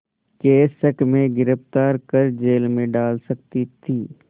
के शक में गिरफ़्तार कर जेल में डाल सकती थी